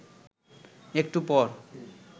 একটু পর